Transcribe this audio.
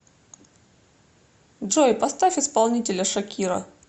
джой поставь исполнителя шакира